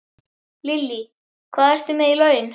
Lillý: Hvað ertu með í laun?